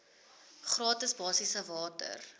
gratis basiese water